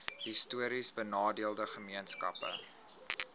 histories benadeelde gemeenskappe